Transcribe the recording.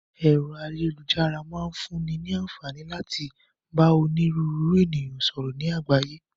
Ẹ̀rọ ayélujára máa ń fún ní ní àǹfààní láti bá òníru ńru ènìyàn sọ̀rọ̀ ni àgbáyé.